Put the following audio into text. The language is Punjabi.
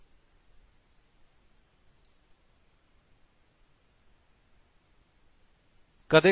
ਕਦੇ ਕਦੇ ਸਾਨੂੰ ਜਿਆਦਾ ਜਾਣਕਾਰੀ ਦੀ ਜ਼ਰੂਰਤ ਨਹੀਂ ਹੁੰਦੀ